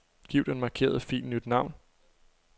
Giv den markerede fil nyt navn.